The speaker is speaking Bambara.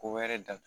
Ko wɛrɛ datugu